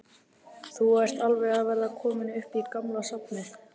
Þórhildur: Þú ert alveg að verða kominn upp í gamla safnið?